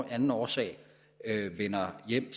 anden årsag vender hjem